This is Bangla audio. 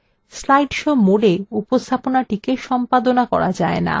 slide show mode উপস্থাপনাটিকে সম্পাদনা করা যায় না